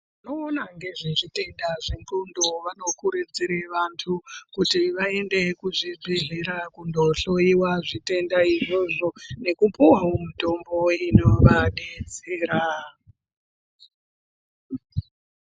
Vanoona ngezvezvitenda zvendxondo vanokurudzire vantu kuti vaende kuzvibhedhlera kundohloyiwa zvitenda izvozvo nekupuwawo mutombo inovadetsera.